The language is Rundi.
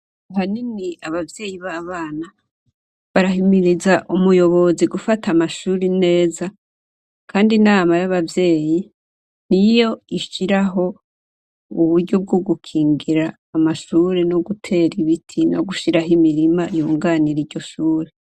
Ahanini abavyeyi b'abana barahimiriza umuyobozi gufata Amashure neza kandi inama y'abavyeyi niyo ishiraho uburyo bwogukingira Amashure nogutera ibiti, nogushiraho imirima yunganira iryoshure.